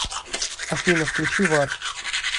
афина включи вар